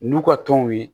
N'u ka tɔn ye